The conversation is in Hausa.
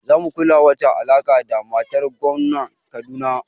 Za mu ƙula wata alaƙa da matar gomnan Kaduna